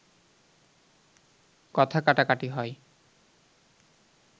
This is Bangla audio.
কথা কাটাকাটি হয়